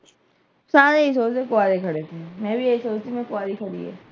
ਸਾਰੇ ਆਈਂ ਸੋਚਦੇ ਆ ਕੁਆਰੇ ਸੀ, ਮੈਂ ਵੀ ਆਈਂ ਸੋਚ ਰਹੀ ਆਂ ਕੁਆਰੇ ਈ